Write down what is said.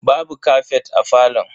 Babu kafet a falon.